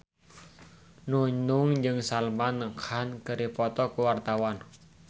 Nunung jeung Salman Khan keur dipoto ku wartawan